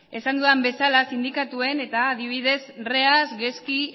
esan dudan bezala sindikatuen eta adibidez reas gezki